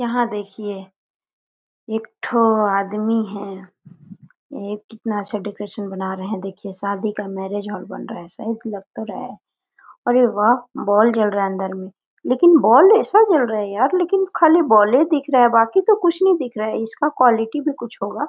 यहाँ देखिये एक ठी आदमी है ये कितना अच्छा डेकोरेशन बना रहे है देखिये शादी का मैरिज हॉल बन रहा है शायद लग तो रहा है अरे व बॉल जल रहा है अंदर में लिकिन बॉल ऐसा जल रहा है यार लेकिन खाली बॉल ले दिख रहा है बाकि तो कुछ नहीं दिख रहा है इसका क्वालिटी भी कुछ होगा।